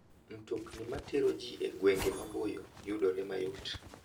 Mtokni matero ji e gwenge maboyo yudore mayot.